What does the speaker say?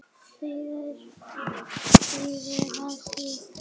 Svið sögðum við.